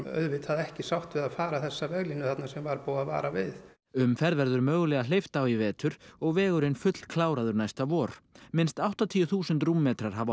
auðvita ekki sátt við að fara þessa veglínu sem var búið að vara við umferð verður mögulega hleypt á í vetur og vegurinn fullkláraður næsta vor minnst áttatíu þúsund rúmmetrar hafa